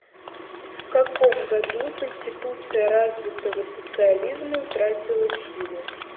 в каком году конституция развитого социализма утратила силу